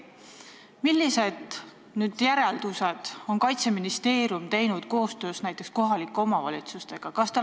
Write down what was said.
Milliseid järeldusi on Kaitseministeerium teinud koostöös kohalike omavalitsustega?